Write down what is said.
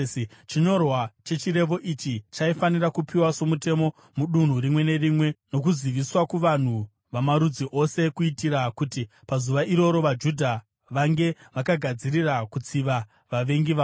Chinyorwa chechirevo ichi chaifanira kupiwa somutemo mudunhu rimwe nerimwe nokuziviswa kuvanhu vamarudzi ose kuitira kuti pazuva iroro vaJudha vange vakagadzirira kutsiva vavengi vavo.